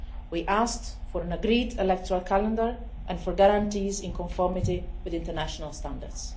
We asked for an agreed electoral calendar and for guarantees in conformity with international standards.